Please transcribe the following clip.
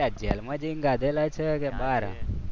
ક્યાં જેલમાં જઈને ખાધેલા છે કે બાર?